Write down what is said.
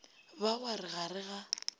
ba wa re ga re